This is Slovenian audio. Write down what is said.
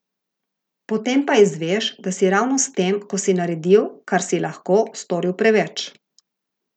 Potem pa izveš, da si ravno s tem, ko si naredil, kar si lahko, storil preveč.